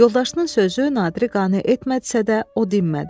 Yoldaşının sözü Nadiri qane etməsə də, o dinmədi.